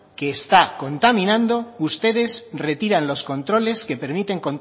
que está contaminando ustedes retiran los controles que permiten